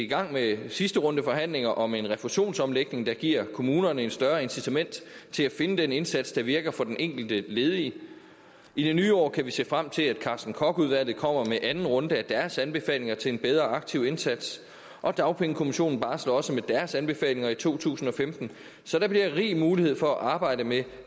gang med sidste runde forhandlinger om en refusionsomlægning der giver kommunerne et større incitament til at finde den indsats der virker for den enkelte ledige i det nye år kan vi se frem til at carsten kock udvalget kommer med anden runde af deres anbefalinger til en bedre aktiv indsats og dagpengekommissionen barsler også med deres anbefalinger i to tusind og femten så der bliver rig mulighed for at arbejde med